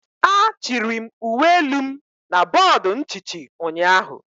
a chiri m uwe elu m na bọọdụ nchichi ụnyaahụ.